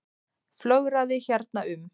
Flögraði hérna um.